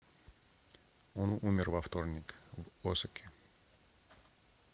он умер во вторник в осаке